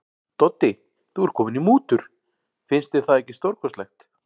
Doddi, þú ert kominn í mútur, finnst þér það ekki stórkostlegt.